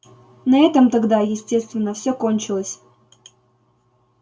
на этом тогда естественно всё кончилось